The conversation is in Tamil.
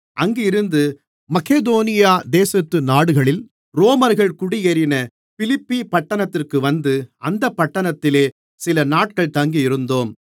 அங்கிருந்து மக்கெதோனியா தேசத்து நாடுகளில் ரோமர்கள் குடியேறின பிலிப்பி பட்டணத்திற்கு வந்து அந்தப் பட்டணத்திலே சிலநாட்கள் தங்கியிருந்தோம்